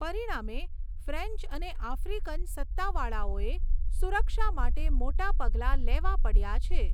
પરિણામે, ફ્રેન્ચ અને આફ્રિકન સત્તાવાળાઓએ સુરક્ષા માટે મોટાં પગલાં લેવાં પડ્યાં છે.